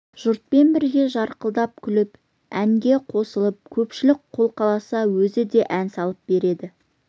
жұртпен бірге жарқылдап күліп әнге қосылып көпшілік қолқаласа өзі де ән салып береді